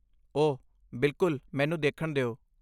ਓਹ, ਬਿਲਕੁਲ, ਮੈਨੂੰ ਦੇਖਣ ਦਿਓ!